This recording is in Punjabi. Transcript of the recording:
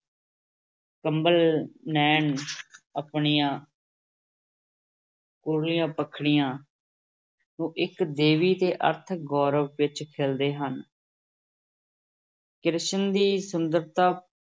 ਕੰਵਲ ਨੈਣ ਆਪਣੀਆਂ ਕੂਲੀਆਂ ਪੰਖੜੀਆਂ ਨੂੰ ਇਕ ਦੈਵੀ ਤੇ ਅਰਥ ਗੌਰਵ ਵਿਚ ਖਿਲ੍ਹਦੇ ਹਨ ਕ੍ਰਿਸ਼ਨ ਦੀ ਸੁੰਦਰਤਾ